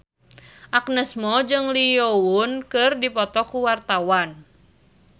Agnes Mo jeung Lee Yo Won keur dipoto ku wartawan